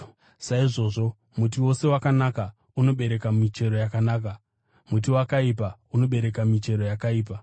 Saizvozvo muti wose wakanaka unobereka michero yakanaka, muti wakaipa unobereka michero yakaipa.